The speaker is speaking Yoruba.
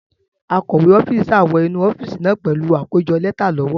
Akọ̀we ọ́fíìsì sá wọ inú ọ́fíìsì náà pẹ̀lú àkójọ lẹ́tà lọ́wọ́.